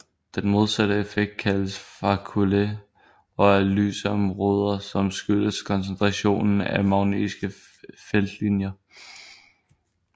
Den modsatte effekt kaldes faculae og er lyse områder som skyldes koncentration af magnetiske feltlinjer